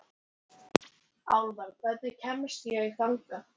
Álfar, hvernig kemst ég þangað?